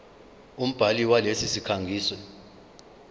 umbhali walesi sikhangisi